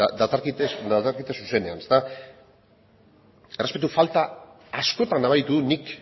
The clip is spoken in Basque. dakarkite zuzenean errespetu falta askotan nabaritu dut nik